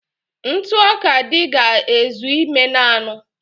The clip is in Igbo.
Ntụ ọka dị ga-ezu ime naanụ